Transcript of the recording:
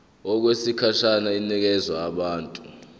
okwesikhashana inikezwa abantu